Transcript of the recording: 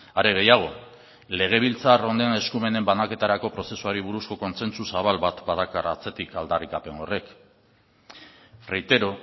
are gehiago legebiltzar honen eskumenen banaketarako prozesuari buruzko kontsentsu zabal bat badakar atzetik aldarrikapen horrek reitero